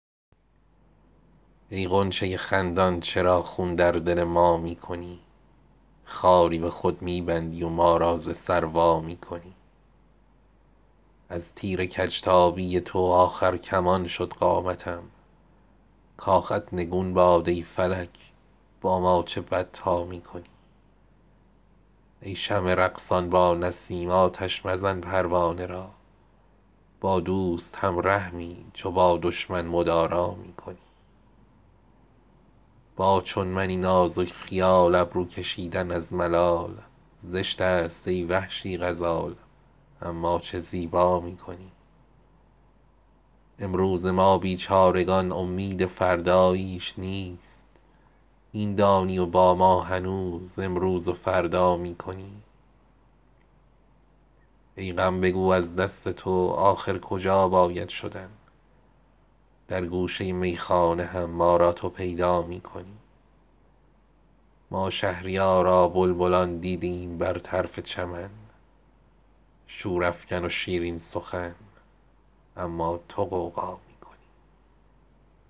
ای غنچه خندان چرا خون در دل ما می کنی خاری به خود می بندی و ما را ز سر وا می کنی از تیر کج تابی تو آخر کمان شد قامتم کاخت نگون باد ای فلک با ما چه بد تا می کنی ای شمع رقصان با نسیم آتش مزن پروانه را با دوست هم رحمی چو با دشمن مدارا می کنی آتش پرید از تیشه ات امشب مگر ای کوهکن از دست شیرین درددل با سنگ خارا می کنی با چون منی نازک خیال ابرو کشیدن از ملال زشت است ای وحشی غزال اما چه زیبا می کنی امروز ما بیچارگان امید فرداییش نیست این دانی و با ما هنوز امروز و فردا می کنی دیدم به آتش بازی ات شوق تماشایی به سر آتش زدم در خود بیا گر خود تماشا می کنی آه سحرگاه ترا ای شمع مشتاقم به جان باری بیا گر آه خود با ناله سودا می کنی ای غم بگو از دست تو آخر کجا باید شدن در گوشه میخانه هم ما را تو پیدا می کنی ما شهریارا بلبلان دیدیم بر طرف چمن شورافکن و شیرین سخن اما تو غوغا می کنی